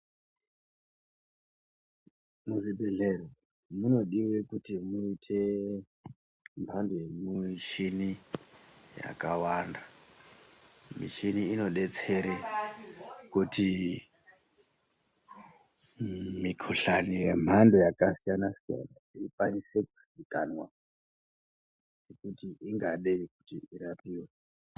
Muzvibhedhlera munodiwa kuti muite mhando yemichini yakawanda, michini inodetsere kuti mikuhlani yemhando yakasiyana siyana ikwanise kuzikanwa kuti ingadei kuti irapiwe